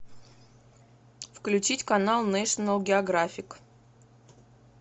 включить канал нэшнл географик